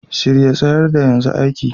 Shirye, tsayar da, yanzu aiki!